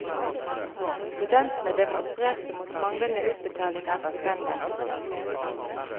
Studentene demonstrerte mot manglende utbetaling av stipender.